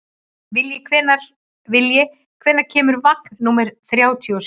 Vilji, hvenær kemur vagn númer þrjátíu og sjö?